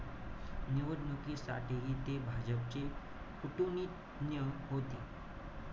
निवडणुकीसाठीही ते भाजपचे नियम होते.